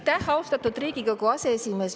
Aitäh, austatud Riigikogu aseesimees!